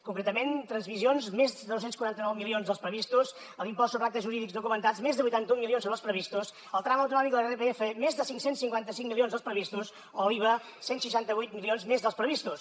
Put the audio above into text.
concretament transmissions més de dos cents i quaranta nou milions dels previstos a l’impost sobre actes jurídics documentats més de vuitanta un milions sobre els previstos al tram autonòmic de l’irpf més de cinc cents i cinquanta cinc milions dels previstos o l’iva cent i seixanta vuit milions més dels previstos